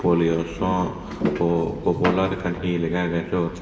polio saw po popular ekkan hee lega agey siyot.